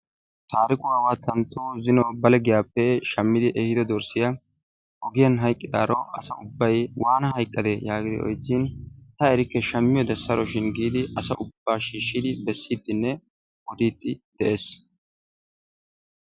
Taarikuwawa tanttu zin Bale giyaappe shimmidi ehido dorssiya ogiyaan hayqqidaaro asay ubbay waana hayqqade yagiidi oychchin, ta erikke zaammiyoode saroshin giidi asa ubba shiishshidi bessidinne odiide de'ees.